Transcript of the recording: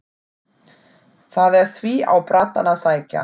Það er því á brattann að sækja.